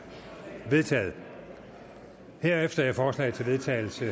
vedtaget herefter er forslag til vedtagelse